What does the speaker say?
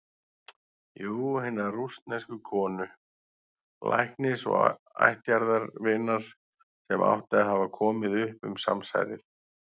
Jú- hinnar rússnesku konu, læknis og ættjarðarvinar, sem átti að hafa komið upp um samsærið.